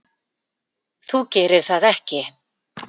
Þú gerir það ekki.